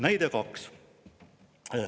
Näide kaks.